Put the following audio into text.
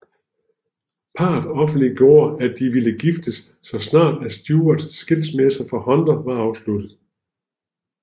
Parret offentliggjorde at de ville giftes så snart at Stewarts skilsmisse fra Hunter var afsluttet